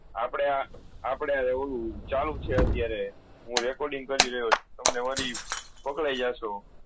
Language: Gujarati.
આપડા આપળે એવું ચાલુ છે અત્યારે હુ recording કરી રહ્યુ છું તમને વરી પકડયી જશો